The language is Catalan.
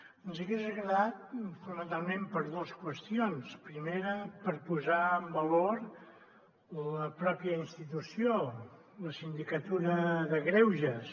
ens hagués agradat fonamentalment per dues qüestions primera per posar en valor la pròpia institució la sindicatura de greuges